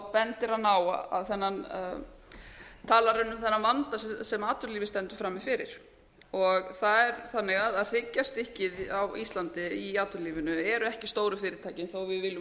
bendir hann á þennan talar hann um þennan vanda sem atvinnulífið stendur frammi fyrir það er þannig að hryggjarstykkið á íslandi í atvinnulífinu eru ekki stóru fyrirtækin þó að við viljum